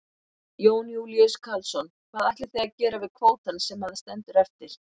Jón Júlíus Karlsson: Hvað ætlið þið að gera við kvótann sem að stendur eftir?